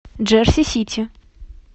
джерси сити